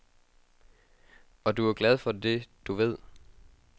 Og du er glad for det, du ved.